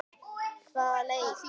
Hvaða leik?